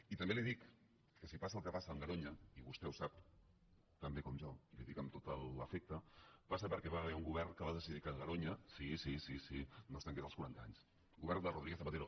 i també li dic si passa el que passa amb garoña i vostè ho sap tan bé com jo i li ho dic amb tot l’afecte passa perquè hi va haver un govern que va decidir que garoña sí sí no es tanqués als quaranta anys el govern de rodríguez zapatero